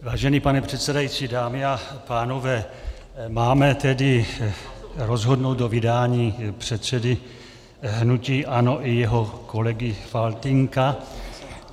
Vážený pane předsedající, dámy a pánové, máme tedy rozhodnout o vydání předsedy hnutí ANO i jeho kolegy Faltýnka.